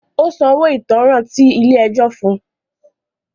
Ó San owo ìtanràn tí ilé ẹjọ́ fún un.